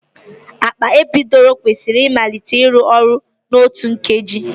Akpa epiidura kwesịrị ịmalite ịrụ ọrụ n'otu nkeji.